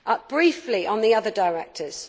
Briefly on the other directives.